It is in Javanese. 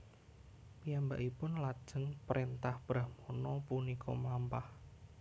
Piyambakipun lajeng prentah brahmana punika mlampah